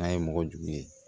N'a ye mɔgɔ jugu ye